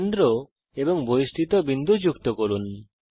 কেন্দ্র এবং বহিস্থিত বিন্দু যুক্ত করুন